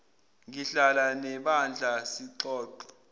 ngihlala nebandla sixoxe